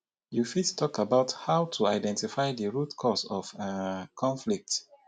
you fit talk about how to identify di root cause of um conflict.